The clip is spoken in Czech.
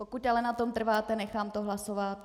Pokud na tom ale trváte, nechám to hlasovat.